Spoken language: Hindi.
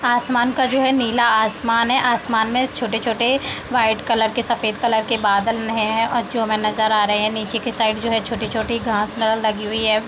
आसमान का जो है नीला आसमान है आसमान में छोटे-छोटे वाइट कलर के सफ़ेद कलर के बादल है। जो हमे नज़र आ रहे है नीचे की साइड जो है। छोटी-छोटी घास लगी हुई हैं।